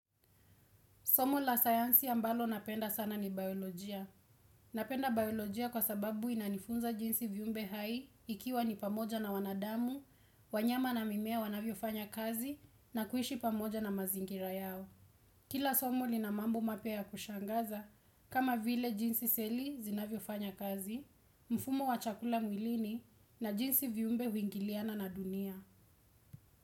Somo la sayansi ambalo napenda sana ni biolojia. Napenda biolojia kwa sababu inanifunza jinsi viumbe hai ikiwa ni pamoja na wanadamu, wanyama na mimea wanavyofanya kazi na kuishi pamoja na mazingira yao. Kila somo lina mambo mapya ya kushangaza kama vile jinsi seli zinavyofanya kazi, mfumo wa chakula mwilini na jinsi viumbe huingiliana na dunia.